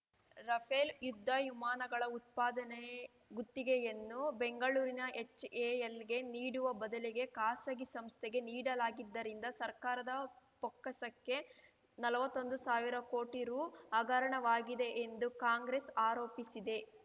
Rafale ಯುದ್ಧ ವಿಮಾನಗಳ ಉತ್ಪಾದನೆ ಗುತ್ತಿಗೆಯನ್ನು ಬೆಂಗಳೂರಿನ ಎಚ್‌ಎಎಲ್‌ಗೆ ನೀಡುವ ಬದಲಿಗೆ ಖಾಸಗಿ ಸಂಸ್ಥೆಗೆ ನೀಡಲಾಗಿದ್ದರಿಂದ ಸರ್ಕಾರದ ಬೊಕ್ಕಸಕ್ಕೆ ನಲ್ವತ್ತೊಂದು ಸಾವಿರ ಕೋಟಿ ರು ಹಗರಣವಾಗಿದೆ ಎಂದು ಕಾಂಗ್ರೆಸ್‌ ಆರೋಪಿಸಿದೆ